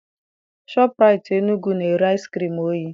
Shọpụraitii Enugwu na-ere ice cream oyi